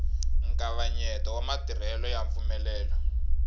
nkavanyeto wa matirhelo ya mpfumelelo